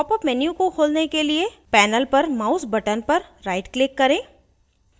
popup menu को खोलने के लिए panel पर mouse button पर right click करें